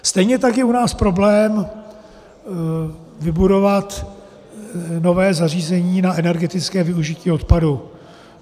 Stejně tak je u nás problém vybudovat nové zařízení na energetické využití odpadu.